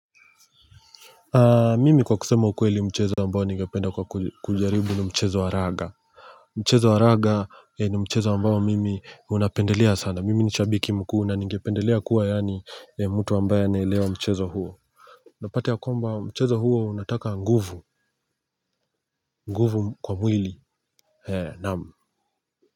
Mimi kwa kusema ukweli mchezo ambao ningependa kwa kujaribu ni mchezo wa raga. Mchezo wa raga ni mchezo ambao mimi unapendelea sana mimi nishabiki mkuu na ningependelea kuwa yaani mtu ambaye anaelewa mchezo huo. Napata ya kwamba mchezo huo unataka nguvu, nguvu kwa mwili naam.